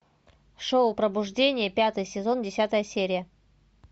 шоу пробуждение пятый сезон десятая серия